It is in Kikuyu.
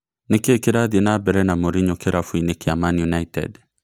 Nĩkĩĩ kĩrathiĩ nambere na Morinyo kĩrabu-inĩ kĩa Mani United ?